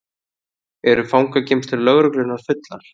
Eru fangageymslur lögreglunnar fullar